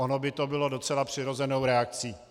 Ono by to bylo docela přirozenou reakcí.